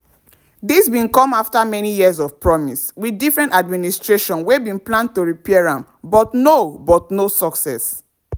dis bin come afta many years of promise wit different administrations wey bin plan to repair am but no but no success.